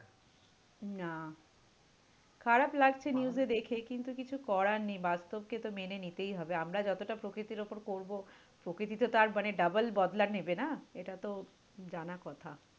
না। খারাপ লাগছে news এ দেখে, কিন্তু কিছু করার নেই। বাস্তবকে তো মেনে নিতেই হবে। আমরা যতটা প্রকৃতির উপর করবো প্রকৃতি তো তার মানে double বদলা নেবে না? এটা তো জানা কথা।